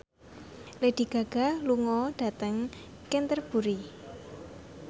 Lady Gaga lunga dhateng Canterbury